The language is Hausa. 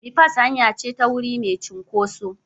Bipas hanya ce ta wuri mai cunkoso.